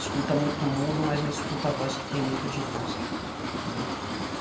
Escuta muito o mundo, mas não escuta a voz que tem dentro de nós, entendeu?